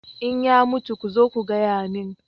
in ya mutu ku zo ku gaya min